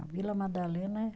A Vila Madalena é